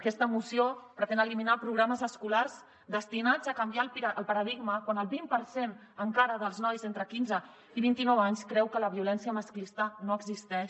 aquesta moció pretén eliminar programes escolars destinats a canviar el paradigma quan el vint per cent encara dels nois entre quinze i vint i nou anys creu que la violència masclista no existeix